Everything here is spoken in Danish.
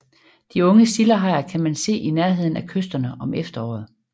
De unge sildehajer kan man se i nærheden af kysterne om efteråret